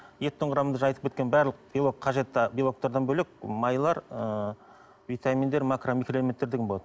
еттің құрамында жаңағы айтып кеткен барлық белок қажетті белоктардан бөлек майлар ы витаминдер макро микроэлементтер деген болады